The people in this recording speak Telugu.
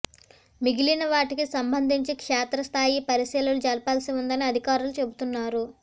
మిగిలిన వాటికి సంబంధించి క్షేత్రస్థాయి పరిశీలన జరపాల్సి ఉందని అధికారులు చెబుతున్నారు